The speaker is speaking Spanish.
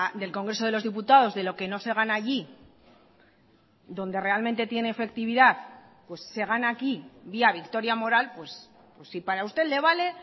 del congreso de los diputados de lo que no se gana allí donde realmente tiene efectividad se gana aquí vía victoria moral pues si para usted le vale